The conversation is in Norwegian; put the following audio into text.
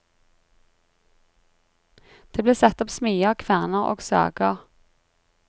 Det ble satt opp smier, kverner og sager.